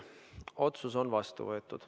Otsus on vastu võetud.